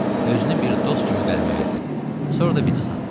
Özünü bir dost kimi qələmə verdin, sonra da bizi satdın.